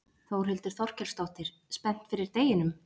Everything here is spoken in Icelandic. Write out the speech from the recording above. Þórhildur Þorkelsdóttir: Spennt fyrir deginum?